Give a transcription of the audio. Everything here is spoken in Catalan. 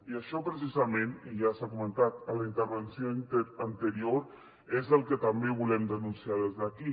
i això precisament i ja s’ha comentat en la intervenció anterior és el que també volem denunciar des d’aquí